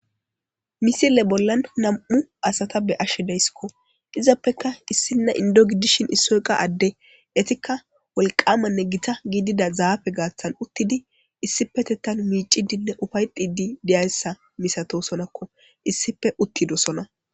Misile bollan nam7u asata be7ashe dayssi izappekka issinna inddo gidishin issoyqa adde etikka wolqamanne gita gidida zaafe garssan uttidi issipetethanmiicciiddinne ufa7ettidi dizayssa masatoosonakko issippe uttidoosona.